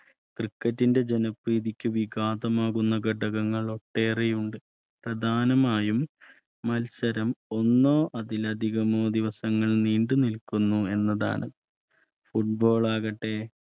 Criket ന്റെ ജന പ്രീതിക്ക് വിഘാതമാകുന്ന ഘടകങ്ങൾ ഏറെയുണ്ട് പ്രധാനമായും മത്സരം ഒന്നോ അതിലധികമോ ദിവസങ്ങൾ നീണ്ടുനിൽക്കുന്നു എന്നതാണ് Football ൾ ആകട്ടെ